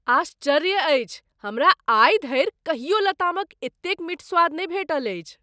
आश्चर्य अछि हमरा आइ धरि कहियो लतामक एतेक मीठ स्वाद नहि भेटल अछि!